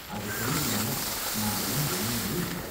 அது சரி இல்லனா நாமெல்லாம் ஒன்னுமே இல்ல